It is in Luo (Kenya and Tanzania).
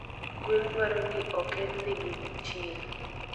Gwen dwaro ni okednegi gi chieng